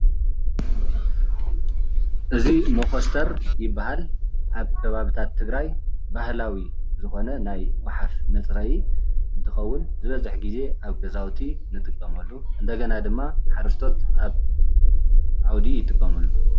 እዚ ሞኸስተር ይበሃል። ኣብ ከባብታት ትግራይ ባህላዊ ዝኮነ ናይ ጉሓፍ መፅረይ እንትከውን ዝበዝሕ ግዜ ኣብ ገዛዉቲ ንጥቀመሉ እንደገና ድማ ሓረስቶት ኣብ ዓዉዲ ይጥቀምሉ።